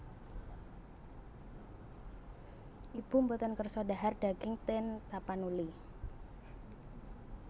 Ibu mboten kersa dhahar daging ten Tapanuli